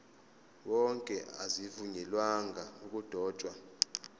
wonke azivunyelwanga ukudotshwa